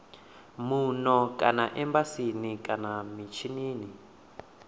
muno kana embasini kana mishinini